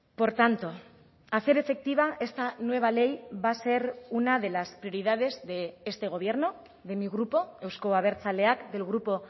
por tanto hacer efectiva esta nueva ley va a ser una de las prioridades de este gobierno de mi grupo euzko abertzaleak del grupo